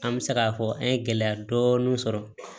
An bɛ se k'a fɔ an ye gɛlɛya dɔɔnin sɔrɔ